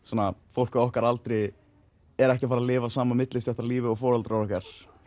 fólk á okkar aldri er ekki að fara að lifa sama millistéttarlífi og foreldrar okkar